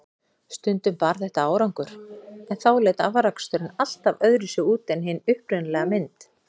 Stundum bar þetta árangur, en þá leit afraksturinn alltaf öðruvísi út en hin upprunalega fyrirmynd.